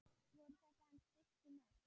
Voru þetta hans fyrstu mörk?